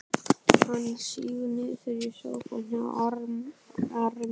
Hann sígur niður í sófann hjá arninum.